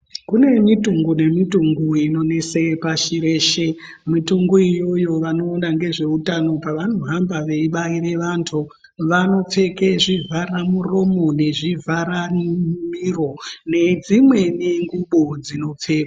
Kune mitungu nemitungu inonese pashi reshe mitungu iyoyo vanoona ngezveutano pavanohamba veibaire vanthu vanopfeke zvivhara muromo nezvivhara miro nedzimweni ngubo dzinopfekwa.